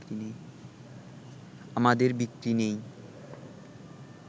আমাদের বিক্রি নেই